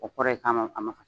O kɔrɔ ye ka ma a ma fasa.